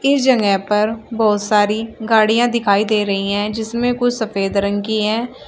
इस जगह पर बहुत सारी गाड़ियां दिखाई दे रही हैं जिसमें कुछ सफेद रंग की हैं।